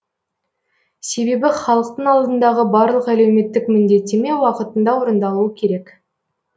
себебі халықтың алдындағы барлық әлеуметтік міндеттеме уақытында орындалуы керек